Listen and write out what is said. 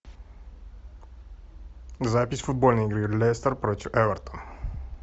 запись футбольной игры лестер против эвертон